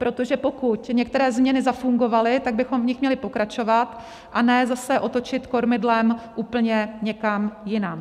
Protože pokud některé změny zafungovaly, tak bychom v nich měli pokračovat a ne zase otočit kormidlem úplně někam jinam.